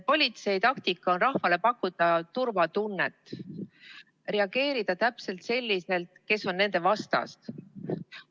Politsei taktika on rahvale pakkuda turvatunnet, reageerida täpselt selliselt, kes on nende vastas.